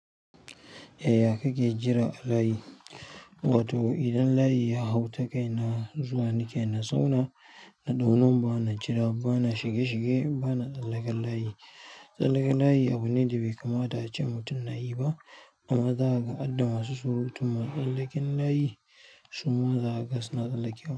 Yaya kake jira a layi? Wato idan layi ya hau ta kai na zuwa, ni ke na zauna, naɗau number na jira, bana shige-shige, bana tsallakar layi. Tsallakar layi abu ne da bai kamata ace mutum na yi ba. Amma za ka hadda masu surutu masu tsallaken layi su ma zakaga su na tsallakewa.